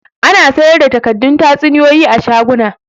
Ana sayar da takaddun tatsuniya a shaguna